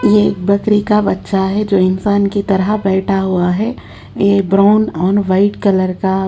ये एक बकरी का बच्चा है जो इंसान की तरह बेठा हुआ है ये ब्राउन और वाइट कलर का--